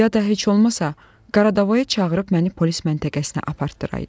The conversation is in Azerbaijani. Ya da heç olmasa Qaradavaya çağırıb məni polis məntəqəsinə apardıraydı.